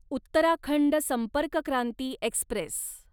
Uttarakhand Sampark Kranti Express